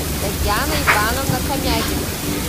татьяна ивановна комягина